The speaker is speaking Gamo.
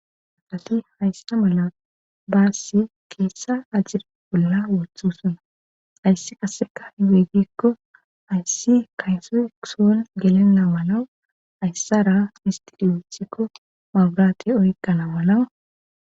Asati haysta mala baassi keessa ajira olola woththu sona ayssi qasseka h geygikko ayssi kayso ikuson gelenna malawu ayssara histidiyothikko maburate oyqana malawa.